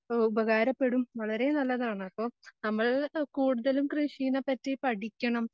ഉപകാരപ്പെടും വളരെ നല്ലതാണ് അപ്പോ നമ്മൾ കൂടുതലും കൃഷിനെ പറ്റി പഠിക്കണം